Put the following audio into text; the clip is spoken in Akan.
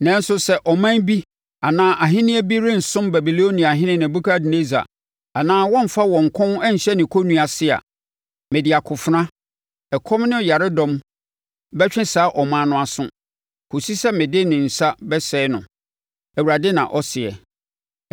“ ‘Nanso sɛ ɔman bi anaa ahennie bi rensom Babiloniahene Nebukadnessar anaa wɔremfa wɔn kɔn nhyɛ ne kɔnnua ase a, mede akofena, ɛkɔm ne ɔyaredɔm bɛtwe saa ɔman no aso, kɔsi sɛ mede ne nsa bɛsɛe no, Awurade na ɔseɛ.